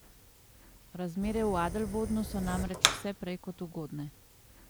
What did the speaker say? Razmere v Adelbodnu so namreč vse prej kot ugodne.